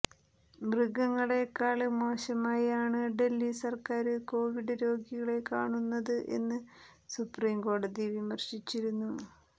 മൃഗങ്ങളേക്കാള് മോശമായാണ് ഡല്ഹി സര്ക്കാര് കോവിഡ് രോഗികളെ കാണുന്നത് എന്ന് സുപ്രീം കോടതി വിമര്ശിച്ചിരുന്നു